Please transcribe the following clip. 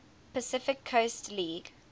pacific coast league